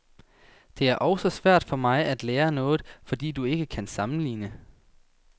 Det er også svært for mig at lære noget, fordi du ikke kan sammenligne.